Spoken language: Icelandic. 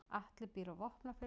Atli býr á Vopnafirði.